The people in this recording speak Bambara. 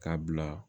K'a bila